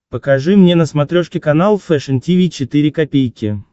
покажи мне на смотрешке канал фэшн ти ви четыре ка